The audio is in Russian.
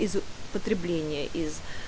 из потребления из